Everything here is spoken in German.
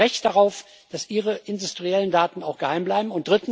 Die haben ein Recht darauf, dass ihre industriellen Daten auch geheim bleiben.